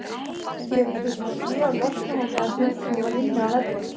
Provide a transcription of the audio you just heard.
Gera þurfti hlé á leiknum á meðan hundurinn var inn á vellinum.